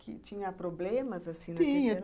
Que tinha problemas, assim, tinha